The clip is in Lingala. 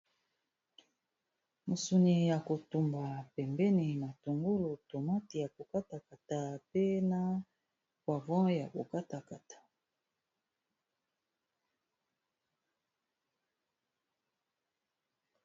Musuni ya kotumba pembeni matungulu tomate ya kokata kata pe na poivron ya kokatakata.